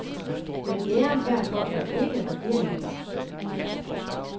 Men æren herfor er ikke regeringens.